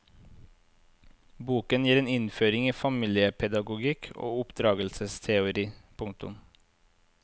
Boken gir en innføring i familiepedagogikk og oppdragelsesteori. punktum